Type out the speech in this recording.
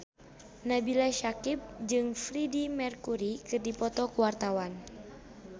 Nabila Syakieb jeung Freedie Mercury keur dipoto ku wartawan